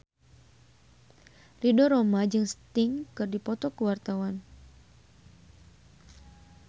Ridho Roma jeung Sting keur dipoto ku wartawan